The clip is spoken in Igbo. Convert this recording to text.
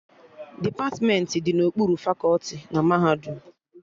Depatmentị dị n'okpuru fakọti na mahadum